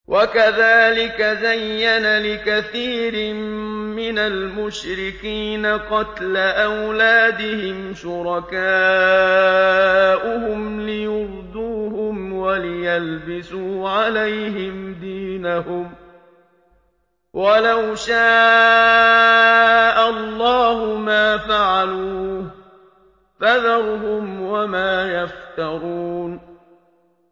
وَكَذَٰلِكَ زَيَّنَ لِكَثِيرٍ مِّنَ الْمُشْرِكِينَ قَتْلَ أَوْلَادِهِمْ شُرَكَاؤُهُمْ لِيُرْدُوهُمْ وَلِيَلْبِسُوا عَلَيْهِمْ دِينَهُمْ ۖ وَلَوْ شَاءَ اللَّهُ مَا فَعَلُوهُ ۖ فَذَرْهُمْ وَمَا يَفْتَرُونَ